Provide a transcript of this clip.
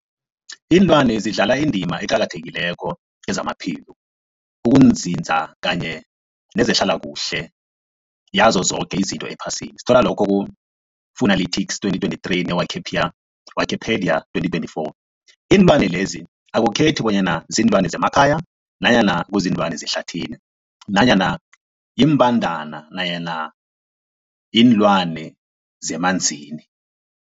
Ilwana zidlala indima eqakathekileko kezamaphilo, ukunzinza kanye nezehlala kuhle yazo zoke izinto ephasini, Fuanalytics 2023, ne-Wikipedia 2024. Iinlwana lezi akukhethi bonyana ziinlwana zemakhaya nanyana kuziinlwana zehlathini nanyana iimbandana nanyana iinlwana zemanzini.